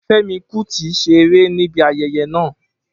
Femi Kuti ṣe ere nibi ayẹyẹ naa